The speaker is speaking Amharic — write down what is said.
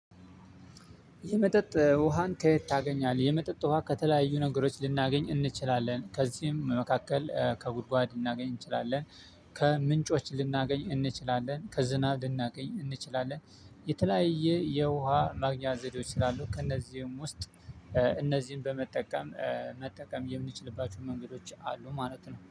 የመጠጥ ውሃን ከየት ታገኛለህ? የመጠጥ ውሃ ከተለያዩ ነገሮች ልናገኝ እንችላለን ከዚህም መካከል ከጉድጓድ ልናገኝ እንችላለን ከምንጮች ልናገኝ እንችላለን ከዝናብ ልናገኝ እንችላለን። የተለያየ የውሃ ማግኛ ዘዴዎች ስላሉን ከእነዚህም ውስጥ። እነዚህን በመጠቀም መጠቀም የምንችልባቸው መንገዶች አሉ ማለት ነው